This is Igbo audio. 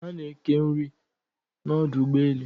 A na eke nri n'odu ugbo elu